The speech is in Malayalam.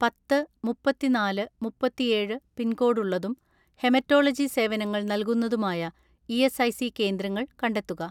" പത്ത് മുപ്പത്തിനാല് മുപ്പത്തിഏഴ് പിൻകോഡ് ഉള്ളതും ഹെമറ്റോളജി സേവനങ്ങൾ നൽകുന്നതുമായ ഇ.എസ്.ഐ.സി കേന്ദ്രങ്ങൾ കണ്ടെത്തുക."